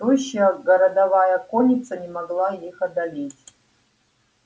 тощая городовая конница не могла их одолеть